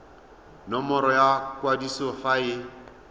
nomoro ya kwadiso fa e